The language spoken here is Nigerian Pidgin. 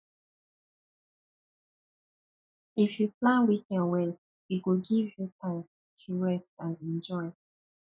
if you plan weekend well e go give you time to rest and enjoy